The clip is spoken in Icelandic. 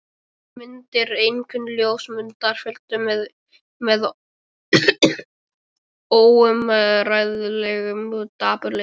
Þessar myndir, einkum ljósmyndirnar, fylltu mig óumræðilegum dapurleika.